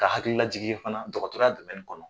Ka hakililajigin fana dɔgɔtɔrɔya kɔnɔ